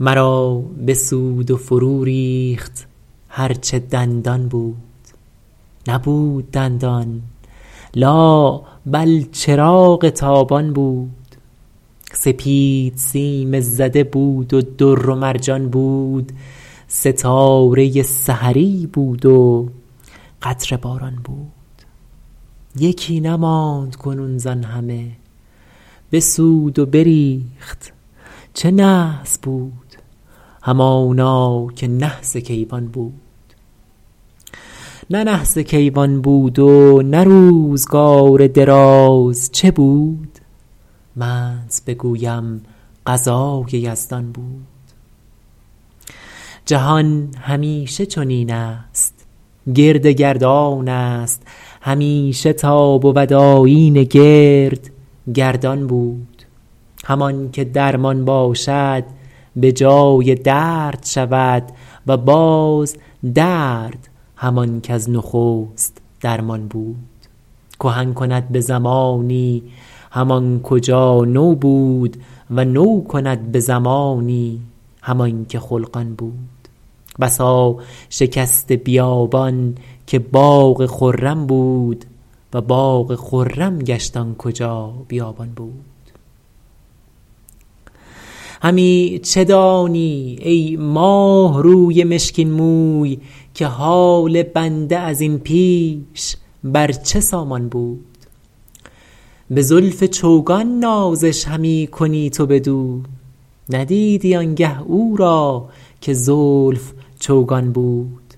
مرا بسود و فرو ریخت هر چه دندان بود نبود دندان لا بل چراغ تابان بود سپید سیم زده بود و در و مرجان بود ستاره سحری بود و قطره باران بود یکی نماند کنون زآن همه بسود و بریخت چه نحس بود همانا که نحس کیوان بود نه نحس کیوان بود و نه روزگار دراز چه بود منت بگویم قضای یزدان بود جهان همیشه چنین است گرد گردان است همیشه تا بود آیین گرد گردان بود همان که درمان باشد به جای درد شود و باز درد همان کز نخست درمان بود کهن کند به زمانی همان کجا نو بود و نو کند به زمانی همان که خلقان بود بسا شکسته بیابان که باغ خرم بود و باغ خرم گشت آن کجا بیابان بود همی چه دانی ای ماهروی مشکین موی که حال بنده از این پیش بر چه سامان بود به زلف چوگان نازش همی کنی تو بدو ندیدی آن گه او را که زلف چوگان بود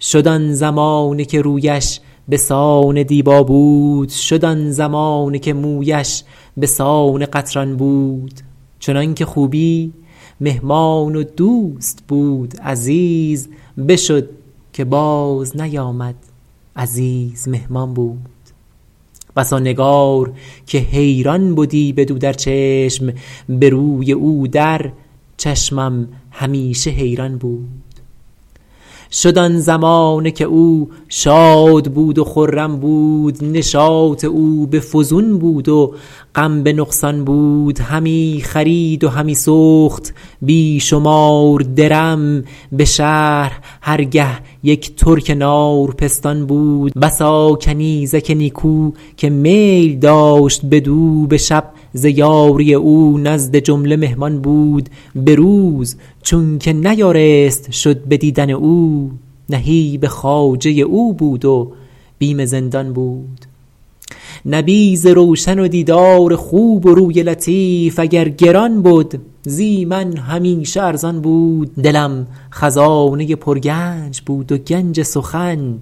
شد آن زمانه که رویش به سان دیبا بود شد آن زمانه که مویش به سان قطران بود چنان که خوبی مهمان و دوست بود عزیز بشد که باز نیامد عزیز مهمان بود بسا نگار که حیران بدی بدو در چشم به روی او در چشمم همیشه حیران بود شد آن زمانه که او شاد بود و خرم بود نشاط او به فزون بود و غم به نقصان بود همی خرید و همی سخت بیشمار درم به شهر هر گه یک ترک نار پستان بود بسا کنیزک نیکو که میل داشت بدو به شب ز یاری او نزد جمله پنهان بود به روز چون که نیارست شد به دیدن او نهیب خواجه او بود و بیم زندان بود نبیذ روشن و دیدار خوب و روی لطیف اگر گران بد زی من همیشه ارزان بود دلم خزانه پر گنج بود و گنج سخن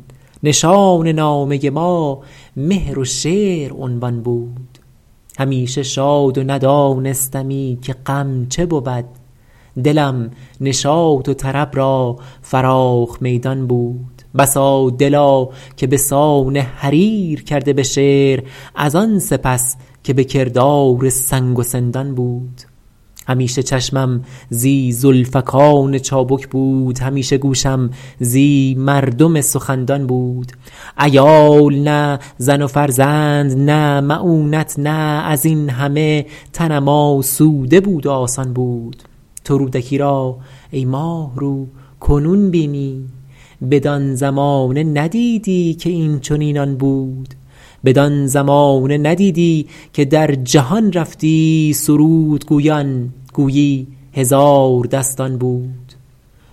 نشان نامه ما مهر و شعر عنوان بود همیشه شاد و ندانستمی که غم چه بود دلم نشاط و طرب را فراخ میدان بود بسا دلا که بسان حریر کرده به شعر از آن سپس که به کردار سنگ و سندان بود همیشه چشمم زی زلفکان چابک بود همیشه گوشم زی مردم سخندان بود عیال نی زن و فرزند نی معونت نی از این همه تنم آسوده بود و آسان بود تو رودکی را -ای ماهرو- کنون بینی بدان زمانه ندیدی که اینچنینان بود بدان زمانه ندیدی که در جهان رفتی سرود گویان گویی هزاردستان بود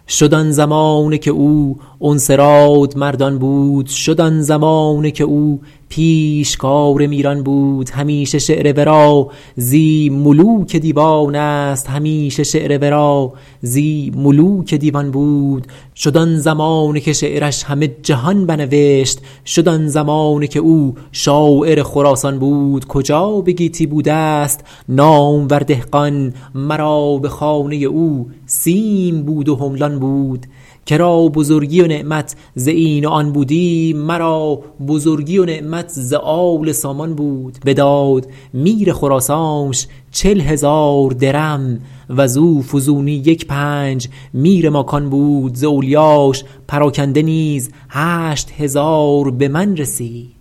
شد آن زمانه که او انس رادمردان بود شد آن زمانه که او پیشکار میران بود همیشه شعر ورا زی ملوک دیوان است همیشه شعر ورا زی ملوک دیوان بود شد آن زمانه که شعرش همه جهان بنوشت شد آن زمانه که او شاعر خراسان بود کجا به گیتی بوده ست نامور دهقان مرا به خانه او سیم بود و حملان بود که را بزرگی و نعمت ز این و آن بودی مرا بزرگی و نعمت ز آل سامان بود بداد میر خراسانش چل هزار درم وزو فزونی یک پنج میر ماکان بود ز اولیاش پراکنده نیز هشت هزار به من رسید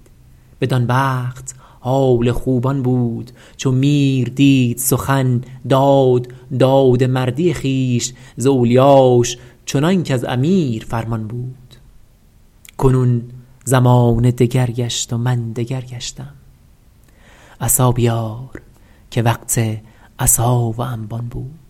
بدان وقت حال خوب آن بود چو میر دید سخن داد داد مردی خویش ز اولیاش چنان کز امیر فرمان بود کنون زمانه دگر گشت و من دگر گشتم عصا بیار که وقت عصا و انبان بود